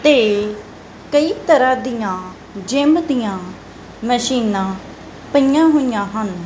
ਤੇ ਕਈ ਤਰ੍ਹਾਂ ਦਿਆਂ ਜਿੱਮ ਦਿਆਂ ਮਸ਼ੀਨਾਂ ਪਈਆਂ ਹੋਈਆਂ ਹਨ।